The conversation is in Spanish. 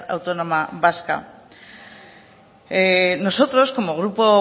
autónoma vasca nosotros como grupo